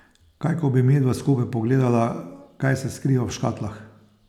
Kaj ko bi midva skupaj pogledala, kaj se skriva v škatlah?